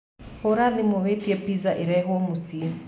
hūra thimu na wītie pizza īrehwo muciī